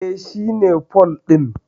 E, shi ne pole din.